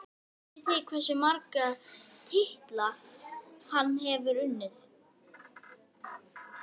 Vitið þið hversu marga titla hann hefur unnið?